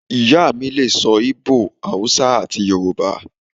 Iya mi lè so̩ íbò, Awúsá ati Yoruba